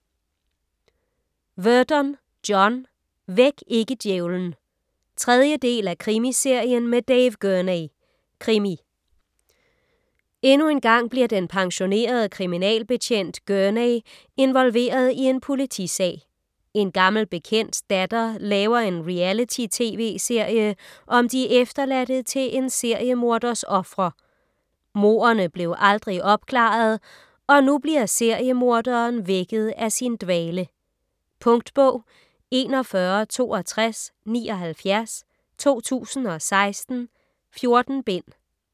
Verdon, John: Væk ikke djævlen 3. del af Krimiserien med Dave Gurney. Krimi. Endnu engang bliver den pensionerede kriminalbetjent Gurney involveret i en politisag. En gammel bekendts datter laver en reality tv-serie om de efterladte til en seriemorders ofre. Mordene blev aldrig opklaret og nu bliver seriemorderen vækket af sin dvale. Punktbog 416279 2016. 14 bind.